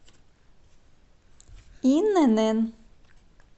инн